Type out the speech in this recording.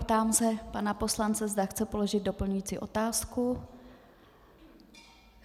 Ptám se pana poslance, zda chce položit doplňující otázku.